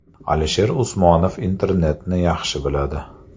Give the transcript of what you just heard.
Alisher Usmonov internetni yaxshi biladi.